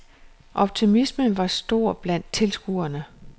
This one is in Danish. Optimismen var stor blandt tilskuerne.